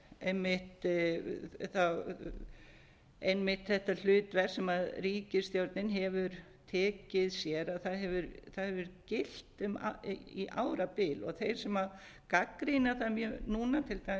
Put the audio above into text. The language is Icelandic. einmitt þetta hlutverk sem ríkisstjórnin hefur tekið sér það hefur gilt í árabil þeim sem gagnrýna það núna til dæmis eins